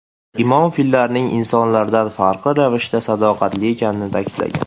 Imom, fillarning insonlardan farqli ravishda sadoqatli ekanligini ta’kidlagan.